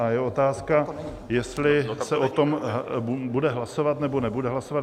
A je otázka, jestli se o tom bude hlasovat, nebo nebude hlasovat.